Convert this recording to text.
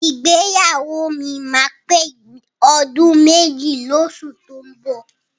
Ìgbéyàwó mi máa pé ọdún méjì lóṣù tó ń bọ̀.